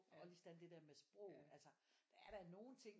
Og lige sådan det der med sprog altså der er da nogle ting